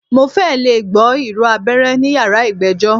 Mo fẹ́ lẹ̀ gbọ́ ìró abẹ́rẹ́ ní yàrá ìgbẹ́jọ́.